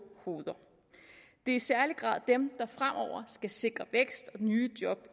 hoveder det er i særlig grad dem der fremover skal sikre vækst og nye job